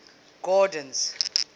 gordon's